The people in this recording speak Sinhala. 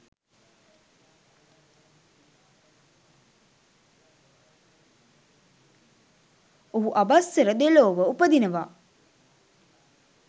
ඔහු ආභස්සර දෙව්ලොව උපදිනවා.